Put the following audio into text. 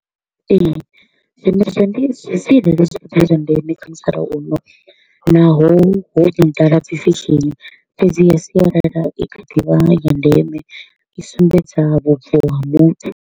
Ee, zwiimiswa ndi zwa sialala zwi kha ḓi vha zwa ndeme kha musalauno naho ho no ḓala dzi fashion, fhedziha sialala i kha ḓivha ya ndeme, i sumbedza vhubvo ha muthu.